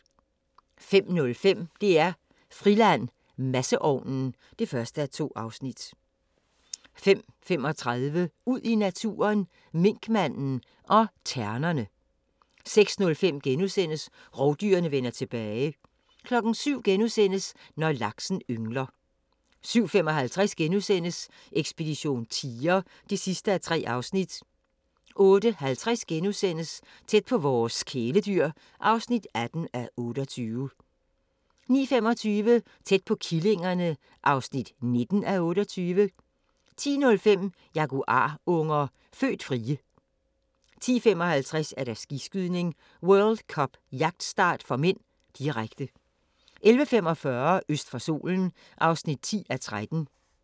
05:05: DR-Friland: Masseovnen (1:2) 05:35: Ud i naturen: Minkmanden og ternerne 06:05: Rovdyrene vender tilbage * 07:00: Når laksen yngler * 07:55: Ekspedition tiger (3:3)* 08:50: Tæt på vores kæledyr (18:28)* 09:25: Tæt på killingerne (19:28) 10:05: Jaguarunger – født frie 10:55: Skiskydning: World Cup - jagtstart (m), direkte 11:45: Øst for solen (10:13)